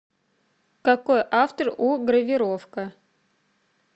какой автор у гравировка